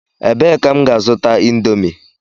Ebee ka m ga-azuta indomie?